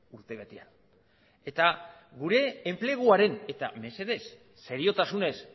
urtebetean eta mesedez seriotasunez